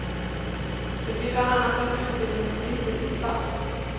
Det blir bland annat en utbildningspolitisk debatt.